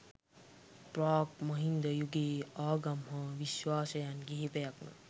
ප්‍රාග් මහින්ද යුගයේ ආගම් හා විශ්වාසයන් කිහිපයක්ම